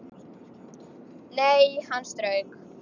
Nei, hann strauk